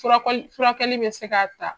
Furakɔli furakɛli bɛ se k'a ta